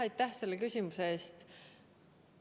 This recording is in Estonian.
Aitäh selle küsimuse eest!